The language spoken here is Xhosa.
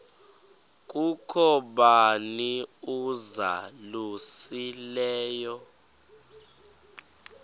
kukho bani uzalusileyo